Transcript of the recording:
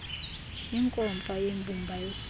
inkomfa yembumba yeentsapho